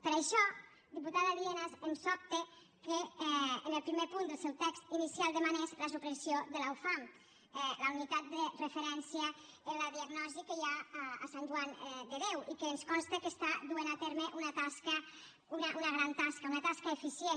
per això diputada lienas em sobta que en el primer punt del seu text inicial demanés la supressió de la ufam la unitat de referència en la diagnosi que hi ha a sant joan de déu i que ens consta que està duent a terme una gran tasca una tasca eficient